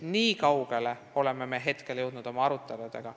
Nii kaugele oleme praeguseks jõudnud oma aruteludega.